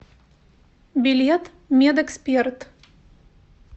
билет медэксперт